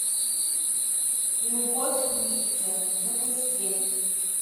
любовь в лифте запусти